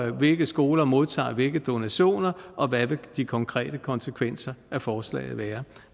hvilke skoler modtager hvilke donationer og hvad vil de konkrete konsekvenser af forslaget være